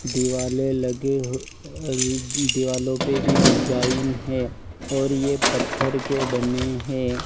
दिवाले लगे हुए अ दीवालो पे भी डिजाइन है और ये पत्थर के बने है।